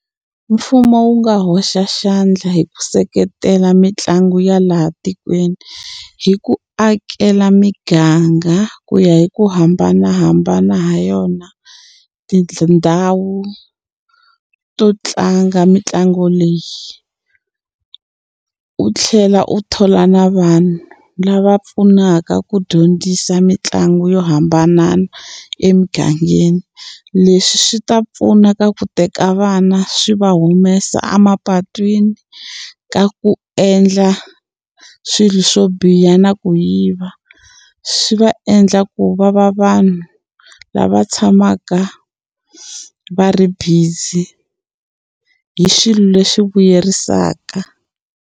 Mfumo wu nga hoxa xandla hi ku seketela mitlangu ya laha tikweni hi ku akela miganga ku ya hi ku hambanahambana ha yona tindhawu to tlanga mitlangu leyi u tlhela u thola na vanhu lava pfunaka ku dyondzisa mitlangu yo hambanana emugangeni leswi swi ta pfuna ka ku teka vana swi va humesa emapatwini ka ku endla swilo swo biha na ku yiva swi va endla ku va va vanhu lava tshamaka va ri busy hi xilo lexi vuyerisaka.